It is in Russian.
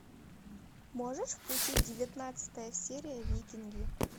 можешь включить девятнадцатая серия викинги